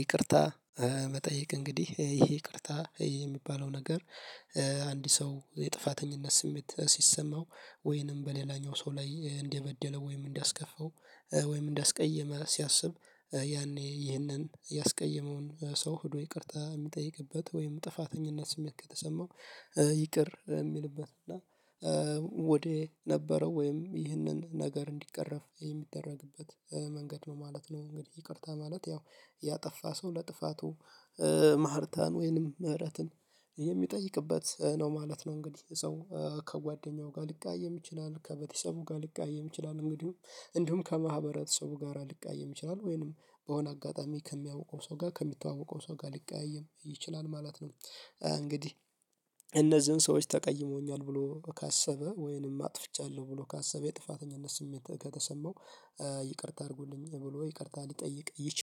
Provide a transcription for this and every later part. ይቅርታ መጠየቅ እንግዲህ ይሄ ይቅርታ የሚባለው ነገር። አንድ ሰው የጥፋተኝነት ስሜት ሲሰማው ወይንም በሌላኛው ሰው ላይ እንደበደለ ወይም እንዳስከፋው ወይም እንዳስቀየመ ሲያስብ ያኔ ይህንን ያስቀየመውን ሰው ሄዶ ይቅርታ የሚጠይቅበት ወይም ጥፋተኝነት ስሜት ከተሰማው ይቅር የሚልበት እና ወዴ ነበረው ወይም ይህንን ነገር እንዲቀረፍ የሚደረግበት መንገድ ነው ማለት ነው። እንግዲህ ይቅርታ ማለት ያው ያጠፋ ሰው ለጥፋቱ ማህርታን ወይንም ምህረትን የሚጠይቅበት ነው ማለት ነው። እንግዲህ ሰው ከጓደኛው ጋር ሊቀያየም ይችላል ከቤተሰቡ ጋር ሊቀያየም ይችላል እንግዲህ እንዲሁም ከማህበረተሰቡ ጋር ሊቀያየም ይችላል ወይንም በሆነ አጋጣሚ ከሚያውቀው ሰው ጋር ከሚተዋወቀው ሰው ጋር ሊቀያይም ይችላል ማለት ነው። እንግዲህ እነዚሁ ሰዎች ተቀይሞኛል ብሎ ካሰበ ወይንም አጥፍቻለሁ ብሎ ካሰበ የጥፋተኝነት ስሜት ከተሰማው። ይቅርታ አድርጉልኝ ብሎ ይቅርታ ሊጠይቅ ይች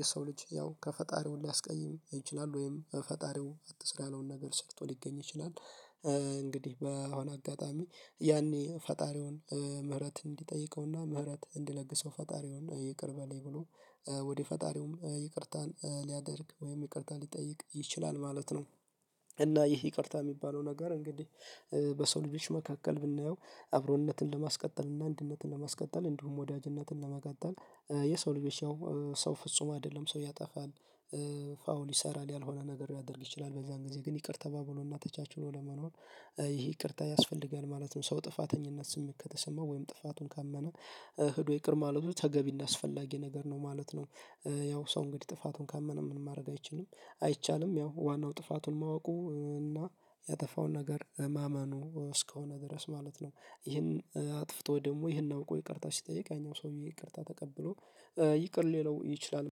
የሰው ልጅ ያው ከፈጣሪው ሊያስቀይም ይችላል ወይም ፈጣሪው አትስራ ያለውን ነገር ሰርቶ ሊገኝ ይችላል እንግዲህ በአሁን አጋጣሚ ያኔ ፈጣሪውን ምህረት እንዲጠይቀውና ምህረት እንዲለግሰው ፈጣሪውን ይቅር በለኝ ብሎ ወደ ፈጣሪውም ይቅርታን ሊያደርግ ወይም ይቅርታን ሊጠይቅ ይችላል ማለት ነው። እና ይህ ይቅርታ የሚባለው ነገር እንግዲህ በሰው ልጆች መካከል ብናየው አብሮነትን ለማስቀጠል እና አንድነትን ለማስቀጠል እንዲሁም ወዳጅነትን ለመቀጠል የሰው ልጆች ያው ሰው ፍጹም አይደለም ሰው ያጠፋል። ፋውል ይሰራል ያልሆነ ነገር ሊያደርግ ይችላል በዛን ጊዜ ግን ይቅር ተባብሎና ተቻችሎ ለመኖር ይሄ ይቅርታ ያስፈልጋል ማለት ነው። ሰው ጥፋተኝነት ስሜት ከተሰማው ወይም ጥፋቱን ካመነ ሄዶ ይቅር ማለቱ ተገቢና አስፈላጊ ነገር ነው ማለት ነው። ያው ሰው እንግዲህ ጥፋቱን ካመነ ምን ማድረግ አይችልም አይቻልም ያው ዋናው ጥፋቱን ማወቁ እና ያጠፋውን ነገር ማመኑ እስከሆነ ድረስ ማለት ነው ይህን አጥፍቶ ደግሞ ይሄን አውቆ ይቅርታ ሲጠይቅ ያኛው ሰውዬ ይቅርታ ተቀብሎ ይቅር ሊለው ይችላል።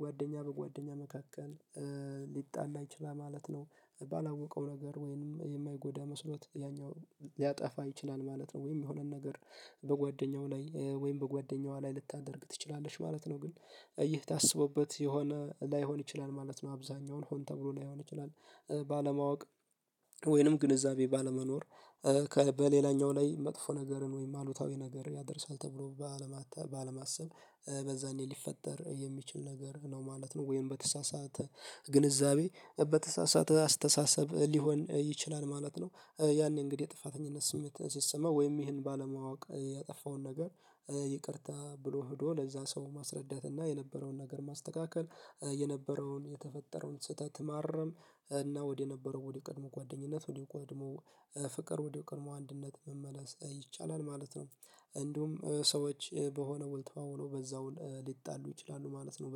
ጓደኛ በጓደኛ መካከል ሊጣላ ይችላል ማለት ነው። ባላወቀው ነገር ወይም የማይጎዳ መስሎት ያኛው ሊያጠፋ ይችላል ማለት ነው። ወይም የሆነን ነገር በጓደኛው ላይ ወይም በጓደኛዋ ላይ ልታደርግ ትችላለች ማለት ነው። ግን ይሄ ታስቦበት የሆነ ላይሆን ይችላል ማለት ነው። አብዛኛውን ሆን ተብሎ ላይሆን ይችላል ባለማወቅ ወይንም ግንዛቤ ባለመኖር በሌላኛው ላይ መጥፎ ነገርን ወይም አሉታዊ ነገር ያደርሳል ተብሎ ባለማሰብ በዛኔ ሊፈጠር የሚችል ነገር ነው ማለት ነው። ወይም በተሳሳተ ግንዛቤ በተሳሳተ አስተሳሰብ ሊሆን ይችላል ማለት ነው። ያኔ እንግዲህ የጥፋተኝነት ስሜት ሲሰማ ወይም ይህን ባለማወቅ ያጠፋውን ነገር ይቅርታ ብሎ ሄዶ ለዛ ሰው ማስረዳት እና የነበረውን ነገር ማስተካከል የነበረውን የተፈጠረውን ስህተት ማረም እና ወደ ነበረው ወደ ቀድሞ ጓደኝነት ወደ ቆድሞ ፍቅር ወደ ቆድሞ አንድነት መመለስ ይቻላል ማለት ነው። እንዲሁም ሰዎች በሆነ ውል ተዋውለው በዛውል ሊጣሉ ይችላሉ ማለት ነው።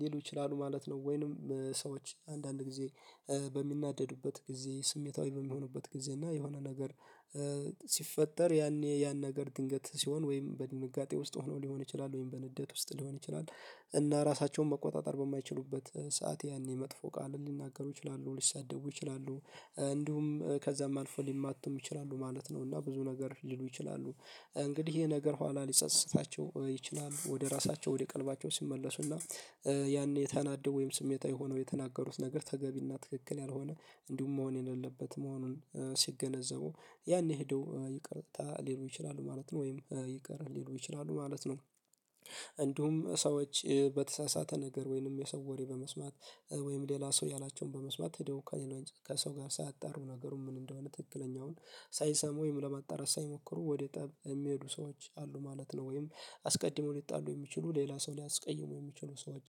ሊሉ ይችላሉ ማለት ነው ወይንም ሰዎች አንዳንድ ጊዜ በሚናደዱበት ጊዜ ስሜታዊ በሚሆኑበት ጊዜ እና የሆነ ነገር ሲፈጠር ያኔ ያን ነገር ድንገት ሲሆን ወይም በድንጋጤ ውስጥ ሆኖ ሊሆን ይችላል ወይም በንዴት ውስጥ ሊሆን ይችላል እና ራሳቸውን መቆጣጠር በማይችሉበት ሰዓት ያኔ መጥፎ ቃልን ሊናገሩ ይችላሉ ሊሳደቡ ይችላሉ እንዲሁም ከዛም አልፎ ሊማቱም ይችላሉ ማለት ነው። እና ብዙ ነገር ሊሉ ይችላሉ እንግዲህ ይሄ ነገር ኋላ ሊጸጽታቸው ይችላሉ ወደ ራሳቸው ወደ ቀልባቸው ሲመለሱና ያኔ ተናደው ወይም ስሜታዊ የሆነው የተናገሩት ነገር ተገቢና ትክክል ያልሆነ እንዲሁም መሆን የሌለበት መሆኑን ሲገነዘቡ ያኔ ሄደው ይቅርታ ሊሉ ይችላሉ ማለት ነው ወይም ይቅር ሊሉ ይችላሉ ማለት ነው። እንዲሁም ሰዎች በተሳሳተ ነገር ወይንም የሰው ወሬ በመስማት ወይም ሌላ ሰው ያላቸውን በመስማት ሄደው ከሰው ጋር ሳያጣሩ ነገሩ ምን እንደሆነ ትክክለኛውን ሳይሰሙ ወይም ለማጣራት ሳይሞክሩ ወደ ጠብ የሚሄዱ ሰዎች አሉ ማለት ነው። ወይም አስቀድሞ ሊጣሉ የሚችሉ ሌላ ሰው ሊያስቀይሙ የሚችሉ ሰዎች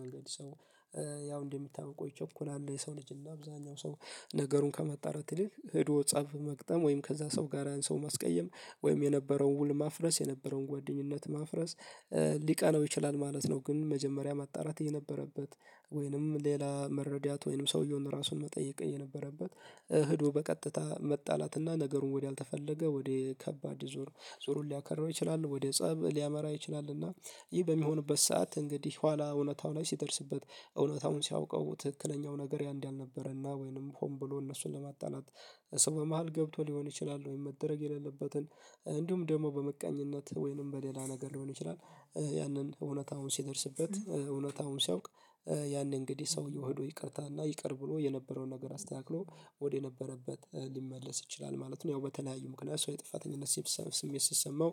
መንገድ ሰው ያው እንደሚታወቀው ይቸኩላል የሰው ልጅ እና አብዛኛው ሰው ነገሩን ከማጣራት ይልቅ ሄዶ ፀብ መግጠም ወይም ከዛ ሰው ጋር ያን ሰው ማስቀየም ወይም የነበረውን ውል ማፍረስ የነበረውን ጓደኝነት ማፍረስ ሊቀናው ይችላል ማለት ነው። ግን መጀመሪያ ማጣራት የነበረበት ወይንም ሌላ መረዳት ወይንም ሰውየውን ራሱን መጠየቅ የነበረበት ሄዶ በቀጥታ መጣላትና ነገሩን ወደ አልተፈለገ ወደ ከባድ ዙር ዙሩን ሊያከራው ይችላል ወደ ፀብ ሊያመራ ይችላል። እና ይህ በሚሆንበት ሰዓት እንግዲህ ኋላ እውነታው ላይ ሲደርስበት እውነታውን ሲያውቀው ትክክለኛው ነገር ያ እንዳልነበረና ወይንም ሆን ብሎ እነሱን ለማጣላት ሰው በመሃል ገብቶ ሊሆን ይችላል ወይም መደረግ የሌለበትን እንዲሁም ደግሞ በምቀኝነት ወይንም በሌላ ነገር ሊሆን ይችላል ያንን እውነት አሁን ሲደርስበት እውነት አሁን ሲያውቅ ያንን እንግዲህ ሰውየው ሄዶ ይቅርታና ይቅር ብሎ የነበረውን ነገር አስተካክሎ ወደ ነበረበት ሊመለስ ይችላል ማለት ነው። ያው በተለያዩ ምክንያት ሰው የጥፋተኝነት ስሜት ሲሰማው